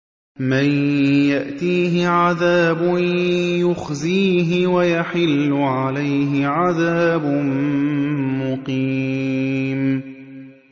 مَن يَأْتِيهِ عَذَابٌ يُخْزِيهِ وَيَحِلُّ عَلَيْهِ عَذَابٌ مُّقِيمٌ